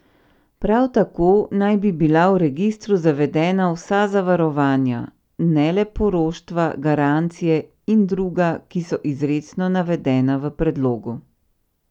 Prav tako naj bi bila v registru zavedena vsa zavarovanja, ne le poroštva, garancije in druga, ki so izrecno navedena v predlogu.